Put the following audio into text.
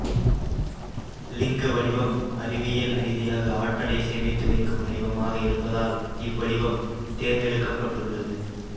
லிங்க வடிவம் அறிவியல் ரீதியாக ஆற்றலை சேமித்து வைக்கும் வடிவமாக இருப்பதால் இவ்வடிவம் தேர்ந்தெடுக்கப்பட்டுள்ளது